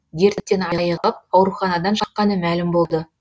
дерттен айығып ауруханадан шыққаны мәлім болды